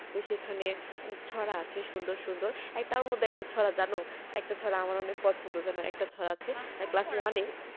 তো সেখানে ছড়া আছে সুন্দর সুন্দর তার মধ্যে একটা ছড়া জানো একটা ছড়া আমারও অনেক পছন্দ জানো একটা ছড়া আছে class one এ